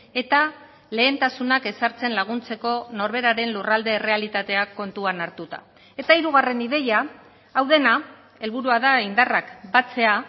eta lehentasunak ezartzen laguntzeko norberaren lurralde errealitateak kontuan hartuta eta hirugarren ideia hau dena helburua da indarrak batzea